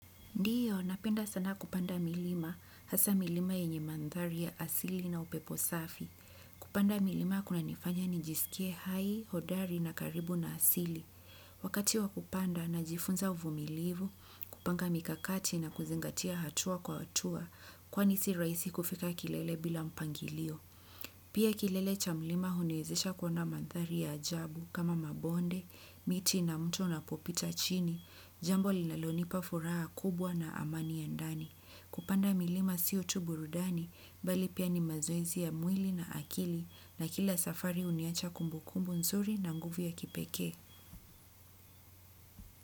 Ndiyo, napenda sana kupanda milima, hasaa milima yenye mandhari ya asili na upepo safi. Kupanda milima kunanifanya nijisikie hai, hodari na karibu na asili. Wakati wa kupanda, najifunza uvumilivu, kupanga mikakati na kuzingatia hatua kwa hatua, kwani si rahisi kufika kilele bila mpangilio. Pia kilele cha mlima huniwezesha kuona mandhari ya ajabu kama mabonde, miti na mto unapopita chini. Jambo linalonipa furaha kubwa na amani ya ndani. Kupanda milima sio tu burudani, bali pia ni mazoezi ya mwili na akili na kila safari huniacha kumbukumbu nzuri na nguvu ya kipekee.